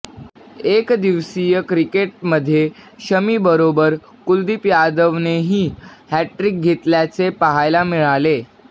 एकदिवसीय क्रिकेटमध्ये शमीबरोबर कुलदीप यादवनेही हॅट्ट्रिक घेतल्याचे पाहायला मिळाले